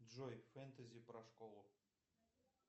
джой фэнтези про школу